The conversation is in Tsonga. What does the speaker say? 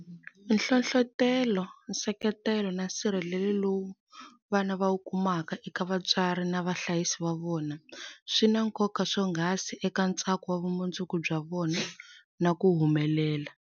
Nhlohlotelo, nseketelo na nsirhelelo lowu vana va wu kumaka eka vatswari na vahlayisi va vona swi na nkoka swonghasi eka ntsako wa vumundzuku bya vona na ku humelela.